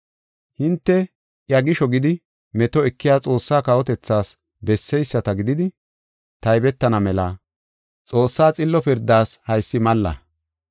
Hinte iya gisho gidi meto ekiya Xoossaa kawotethaas besseyisata gididi taybetana mela Xoossaa xillo pirdaas haysi malla.